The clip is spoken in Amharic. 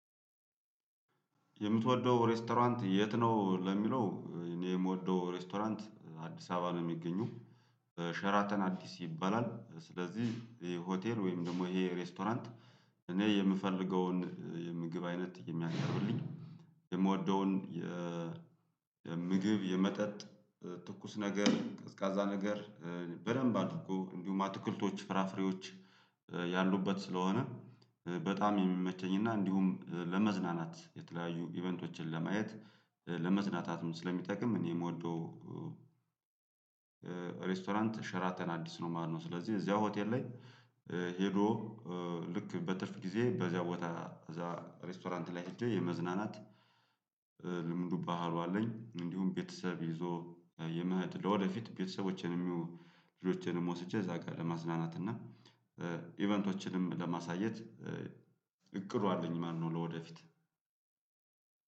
የምትወደው ሬስቶራንት የት? ነው ለሚለው እኔ የምወደው ሬስቶራንት አዲስ አበባ ነው የሚገኘው። ሸራተን አዲስ ይባላል ስለዚህ ይሄ ሆቴል ወይም ደግሞ ይሄ ሬስቶራንት እኔ የምፈልገውን የምግብ አይነት የሚያቀርብልኝ። የምወደውን የምግብ የመጠጥ ትኩስ ነገር ቀዝቃዛ ነገር በደንብ አሉ እኮ እንዲሁም አትክልቶች ፍራፍሬዎች ያሉበት ስለሆነ። በጣም የሚመቸኝ እና እንዲሁም ለመዝናናት የተለያዩ ኢቨንቶችን ለማየት ለመዝናናትም ስለሚጠቅም እኔ የምወደው ሬስቶራንት ሸራተን አዲስ ነው። ማነው? ስለዚህ እዚያ ሆቴል ላይ ሄዶ ልክ በትርፍ ጊዜ በዚያ ቦታ እዛ ሬስቶራንት ላይ ሄጄ የመዝናናት ልምዱ ባህሉ አለኝ። እንዲሁም ቤተሰብ ይዞ የመህድ ለወደፊት ቤተሰቦቼን የሚሆኑ ልጆቼንም ወስጄ እዛ ጋር ለማዝናናት እና ኢቨንቶችንም ለማሳየት እቅዱ አለኝ ማለት ነው። ለወደፊት